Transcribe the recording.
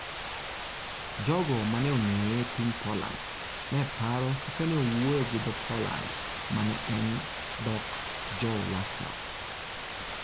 Jogo ma ne ong'eye e piny Poland, ne paro kaka ne owuoyo gi dho Poland ma ne en "dhok Jo-Warsaw".